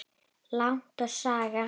Land og Saga.